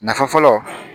Nafa fɔlɔ